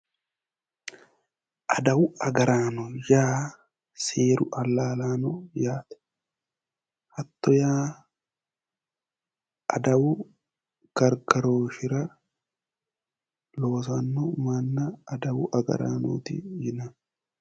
Adawu agaraano yaa seeru allaalaano yaate. Hatto yaa adawu gargaroooshshira loosanno manna adawu agaraanooti yinanni.